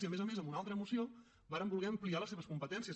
i a més a més amb una altra moció vàrem voler ampliar les seves competències